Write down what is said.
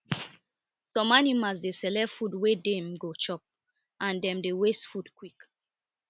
some animals dey select food wey dem go chop and dem dey waste dem dey waste food quick